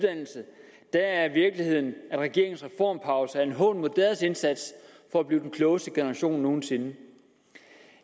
at er virkeligheden at regeringens reformpause er en hån mod deres indsats for at blive den klogeste generation nogen sinde